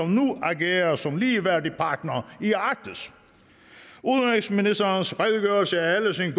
nu agerer som ligeværdig partner i arktis udenrigsministerens redegørelse er ellers en